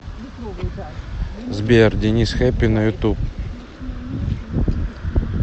сбер денис хэппи на ютуб